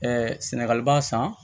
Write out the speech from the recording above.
sɛnɛgali b'a san